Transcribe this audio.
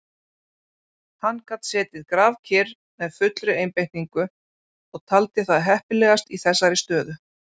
Hann gat setið grafkyrr með fullri einbeitingu og taldi það heppilegast í þessari stöðu.